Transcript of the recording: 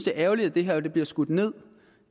er ærgerligt at det her bliver skudt ned